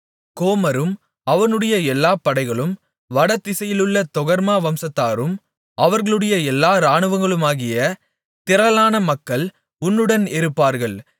கோமரும் அவனுடைய எல்லா படைகளும் வடதிசையிலுள்ள தொகர்மா வம்சத்தாரும் அவர்களுடைய எல்லா இராணுவங்களுமாகிய திரளான மக்கள் உன்னுடன் இருப்பார்கள்